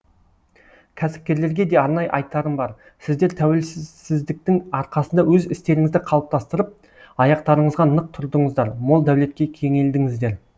кәсіпкерлерге де арнайы айтарым бар сіздер тәуелсіздіктің арқасында өз істеріңізді қалыптастырып аяқтарыңызға нық тұрдыңыздар мол дәулетке кенелдіңіздер